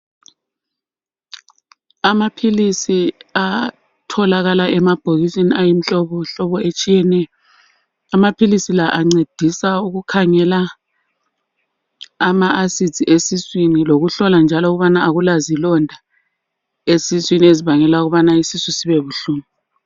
Amaphilisi atholakala emabhokisini ayimihlobohlobo etshiyeneyo. Ancedisa ukukhangela ama asidi esiswini, lokuhlola njalo ukubana akulazilonda esiswini ezibangela ukuba isisu sibe buhlungu.